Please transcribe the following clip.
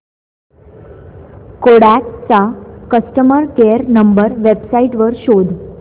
Kodak चा customer care number website वर शोध